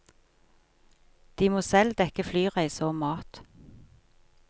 De må selv dekke flyreise og mat.